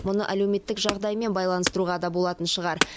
мұны әлеуметтік жағдаймен байланыстыруға да болатын шығар